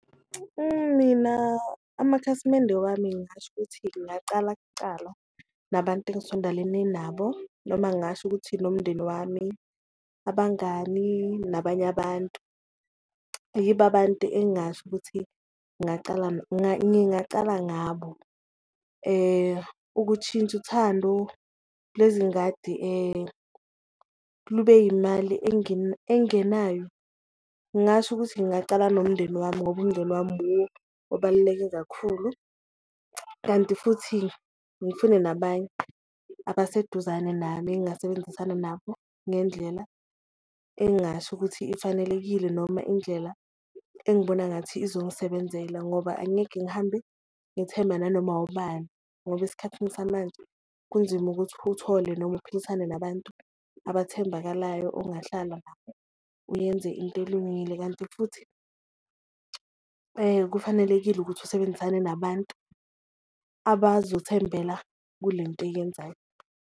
Mina amakhasimende wami ngingasho ukuthi ngingacala kucala nabantu engisondelene nabo noma ngingasho ukuthi nomndeni wami, abangani nabanye abantu, yibo abantu engingasho ukuthi ngingacala ngabo. Ukushintsha uthando lezingadi lube yimali engenayo, ngingasho ukuthi ngingacala nomndeni wami ngoba umndeni wami wuwo obaluleke kakhulu. Kanti futhi ngifune nabanye abaseduzane nami engasebenzisana nabo ngendlela engasho ukuthi ifanelekile, noma indlela engibona ngathi izongisebenzela ngoba angeke ngihambe ngithemba nanoma ubani. Ngoba esikhathini samanje kunzima ukuthi uthole noma uphilisane nabantu abathembakalayo ungahlala nabo uyenze into elungile, kanti futhi kufanelekile ukuthi usebenzisane nabantu abazothembela kule nto oyenzayo.